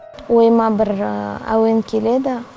ойыма бір әуен келеді